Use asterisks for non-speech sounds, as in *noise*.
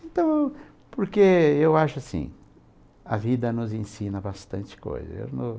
Então, porque eu acho assim, a vida nos ensina bastante coisa. *unintelligible*